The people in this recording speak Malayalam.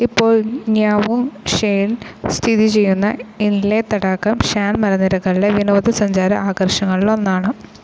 ഇപ്പോൾ ന്യാവുങ് ഷ്വെയിൽ സ്ഥിതിചെയ്യുന്ന ഇന്ലെ തടാകം ഷാൻ മലനിരകളിലെ വിനോദ സഞ്ചാര ആകർഷണങ്ങളിൽ ഒന്നാണ്.